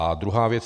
A druhá věc.